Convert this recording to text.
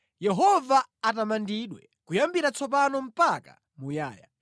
Yehova atamandidwe, kuyambira tsopano mpaka muyaya.